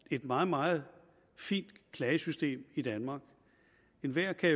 et meget meget fint klagesystem i danmark enhver kan